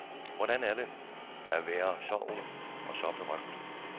Hvordan er det at være så ung og så berømt?